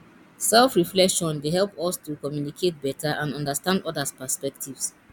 selfreflection dey help us to communicate beta and understand odas perspectives